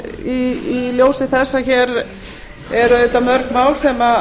í ljósi þess að hér eru auðvitað mörg mál sem